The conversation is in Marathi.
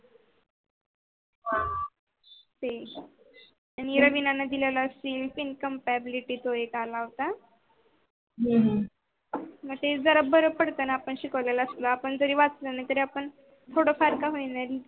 आणि इरा बिरा न दिलेला sim income pyablity तो एक आला होत. हम्म हम्म तेच जरा बर पडत न आपण शिकवलेल असत आपण जरी वाचल न आपण थोड फार का होईना.